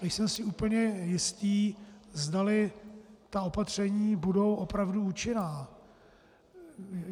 Nejsem si úplně jistý, zdali ta opatření budou opravdu účinná.